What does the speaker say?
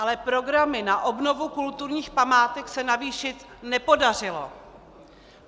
Ale programy na obnovu kulturních památek se navýšit nepodařilo.